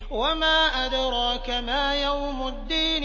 وَمَا أَدْرَاكَ مَا يَوْمُ الدِّينِ